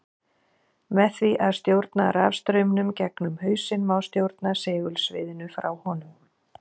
Með því að stjórna rafstraumnum gegnum hausinn má stjórna segulsviðinu frá honum.